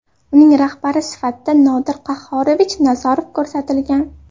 Uning rahbari sifatida Nodir Qahhorovich Nazarov ko‘rsatilgan.